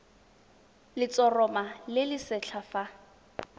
letshoroma le le setlha fa